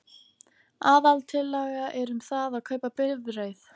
Aðaltillaga er um það að kaupa bifreið.